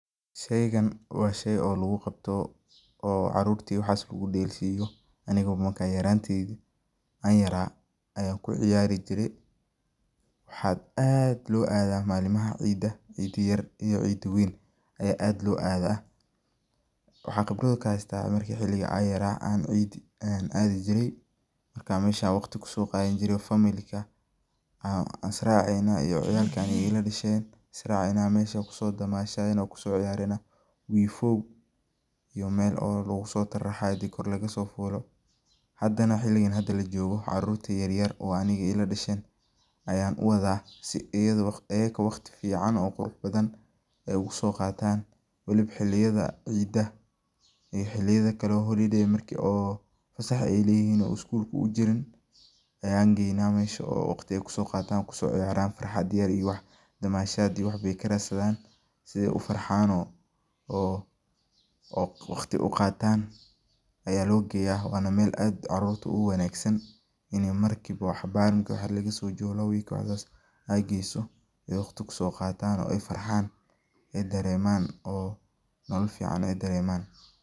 Sheygan waa shey oo lagu qabo, carrurta iyo waxaas lagu dheelsiyo ,aniga markaa yaranteydi aan yaraa ayaanku ciyaari jire. Waxaa aad loo aadaa malimaha ciidda yar iyo ciidda weyn ayaa aad loo adaa. Waxaan khibrada oo ka heystaa ,marka xiligi aan yaraa aan ciiddi aan aadi jiray ,marka meesha aan waqti kusoo qaadan jiray familka aan israceynaa iyo ciyaalka aniga ila dhasheen israceynaa ,mesha ayaan kusoo damashadeynaa kusoo ciyareynaa, wiifoow iyo meel oo lagusoo taraxayo inti kor lagasoo fuulo. Haddana xiligan hadda la joogo caruurta yaryar oo aniga ila dhasheen ayaan u wadaa si ayada ,ayaka waqti fiican oo qurux badan ay ugu soo qataan, waliba xilliyada ciidda iyo xilliyada kale oo holiday marki ay fasax ay leyihiin oo iskulka uu jirin ayaan geynaa meesha oo waqti ay kusoo qataan, kusoo ciyaraan ,farxad yar iyo damashaad iyo wax bey ka radsadaan si ay u farxaan oo waqti u qataan ayaa loo geyaa waana meel aad carrurta ugu wanaagsan, ini marki bo cabbaar wax yar lagasoo joogo lawa week wax saas eh aad geyso oo waqti ay kusoo qataan ay farxaan, ay daremaan oo nolo fiican ay daremaan.